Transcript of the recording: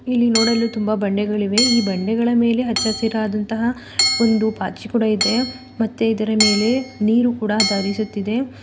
ಇಲ್ಲಿ ನೋಡಲು ತುಂಬಾ ಬಂಡೆಗಳಿವೆ ಈ ಬಂಡೆಗಳ ಮೇಲೆ ಹಚ್ಚಿ ಹಸಿರಾದಂತಹ ಒಂದು ಪಾಚಿ ಕೂಡ ಇದೆ ಮತ್ತೆ ಇದರ ಮೇಲೆ ನೀರು ಕೂಡ ಧರಿಸುತ್ತಿದೆ.